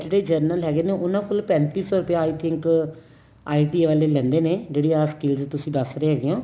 ਜਿਹੜੇ general ਹੈਗੇ ਨੇ ਉਹਨਾ ਕੋਲ ਪੈਂਤੀ ਸੋ ਰੁਪਇਆ I think ITA ਵਾਲੇ ਲੈਂਦੇ ਨੇ ਜਿਹੜੀ ਆਹ scheme ਤੁਸੀਂ ਦਸ ਰਹੇ ਹੈਗੇ ਓ